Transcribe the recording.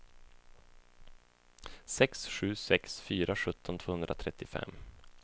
sex sju sex fyra sjutton tvåhundratrettiofem